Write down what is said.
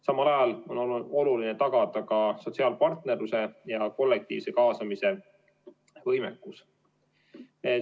Samal ajal on oluline tagada sotsiaalpartnerluse ja kollektiivse kaasamise võimekus.